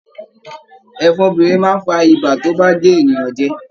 Ẹ̀fọn obìnrin máa n fà ibà tí o ba gé ènìyàn jẹ.